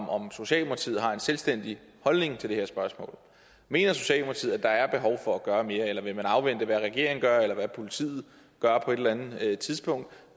om socialdemokratiet har en selvstændig holdning til det her spørgsmål mener socialdemokratiet at der er behov for at gøre mere eller vil man afvente hvad regeringen gør eller hvad politiet gør på et eller andet tidspunkt